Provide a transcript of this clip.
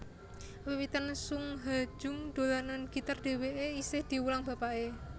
Wiwitan Sung Ha Jung dolanan gitar dhèwèké isih diwulang bapaké